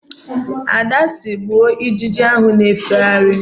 Ada sịrị, "kụgbụo ijiji ahụ na-efegharị"!